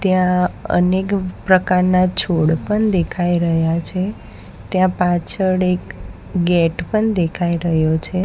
ત્યાં અનેક પ્રકારના છોડ પણ દેખાઈ રહ્યા છે ત્યાં પાછળ એક ગેટ પણ દેખાઈ રહ્યો છે.